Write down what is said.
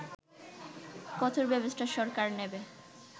কঠোর ব্যবস্থা সরকার নেবে